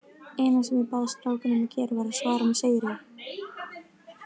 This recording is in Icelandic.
Eina sem ég bað strákana um að gera var að svara með sigri.